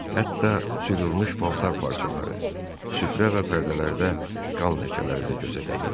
Hətta cırılmış paltar parçaları, süfrə və pərdələrdə qan ləkələri də gözə dəyirdi.